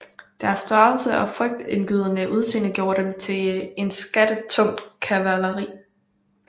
Deres størrelse og frygtindgydende udseende gjorde dem til et skattet tungt kavaleri